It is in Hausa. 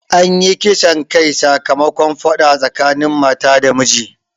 Anyi kisan kai sakamakon faɗa tsakanin mata da miji